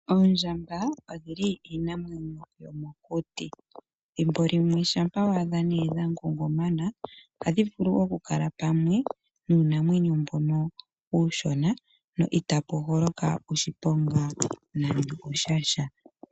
Oondjamba odhili iinamwenyo yomokuti, thimbo limwe shampa waadha nee dha ngungumana ohadhi vulu oku kala pamwe nuunamwenyo mbono uushona no itapu holoka oshiponga nande sha sha.